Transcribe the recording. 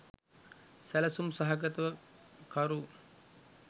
සැලසුම් සහගතව කරු